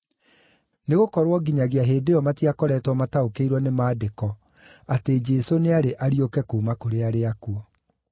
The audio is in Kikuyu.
(Nĩgũkorwo nginyagia hĩndĩ ĩyo matiakoretwo mataũkĩirwo nĩ Maandĩko atĩ Jesũ nĩarĩ ariũke kuuma kũrĩ arĩa akuũ.)